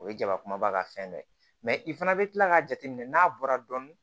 O ye jaba kumaba ka fɛn dɔ ye mɛ i fana bɛ kila k'a jateminɛ n'a bɔra dɔɔnin